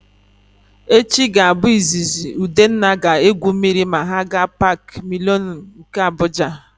Echi ga-abụ izizi Udenna ga-egwu mmiri ma ha gaa Paakị Milenum nke Abuja.